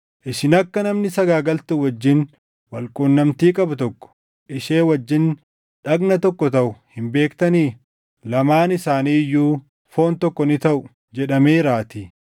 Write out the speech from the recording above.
Isin akka namni sagaagaltuu wajjin wal qunnamtii qabu tokko ishee wajjin dhagna tokko taʼu hin beektanii? “Lamaan isaanii iyyuu foon tokko ni taʼu” + 6:16 \+xt Uma 2:24\+xt* jedhameeraatii.